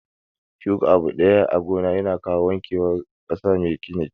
Shuka abu ɗaya a gona na kawo wanke war ƙasa mai gina jiki